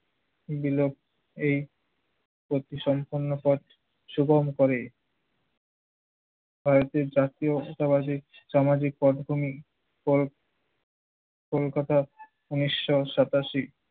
দিল এই সম্পূর্ণ পথ সুগম করে ভারতের জাতীয়তাবাদী সামাজিক পটভূমি কল~ কলকাতার উনিশশ সাতাশি